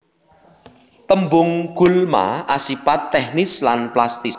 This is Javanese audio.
Tembung gulma asipat teknis lan plastis